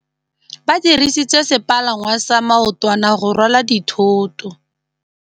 Ba dirisitse sepalangwasa maotwana go rwala dithôtô.